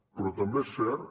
però també és cert